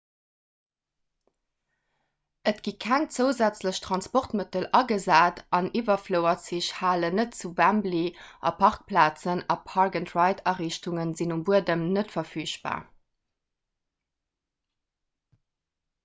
et gi keng zousätzlech transportmëttel agesat an iwwerflouerzich halen net zu wembley a parkplazen a park-and-ride-ariichtunge sinn um buedem net verfügbar